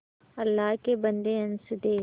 अल्लाह के बन्दे हंस दे